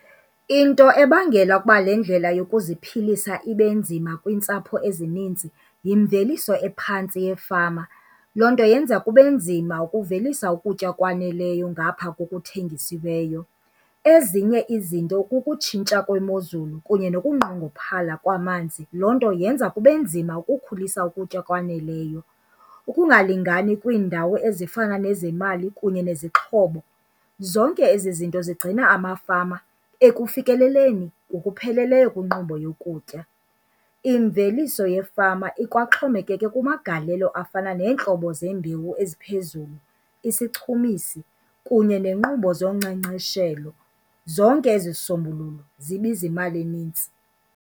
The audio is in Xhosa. Into ebangela ukuba le ndlela yokuziphilisa ibe nzima kwiintsapho ezininzi yimveliso ephantsi yefama. Loo nto yenza kube nzima ukuvelisa ukutya okwaneleyo ngapha kokuthengisiweyo. Ezinye izinto kukutshintsha kwemozulu kunye nokunqongophala kwamanzi, loo nto yenza kube nzima ukukhulisa ukutya okwaneleyo. Ukungalingani kwiindawo ezifana nezemali kunye nezixhobo, zonke ezi zinto zigcina amafama ekufikeleleni ngokupheleleyo kwinkqubo yokutya. Imveliso yefama ikwaxhomekeke kumagalelo afana neentlobo zeembewu eziphezulu, isichumisi kunye neenkqubo zonkcenkceshelo. Zonke ezizisombululo zibiza imali eninzi.